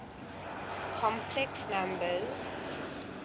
complex numbers